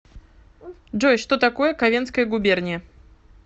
джой что такое ковенская губерния